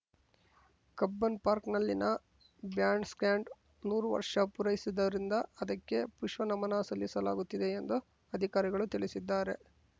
Cubbon ಪಾರ್ಕ್ನಲ್ಲಿನ band stand ನೂರು ವರ್ಷ ಪೂರೈಸಿದರಿಂದ ಅದಕ್ಕೆ ಪುಷ್ಪ ನಮನ ಸಲ್ಲಿಸಲಾಗುತ್ತಿದೆ ಎಂದು ಅಧಿಕಾರಿಗಳು ತಿಳಿಸಿದ್ದಾರೆ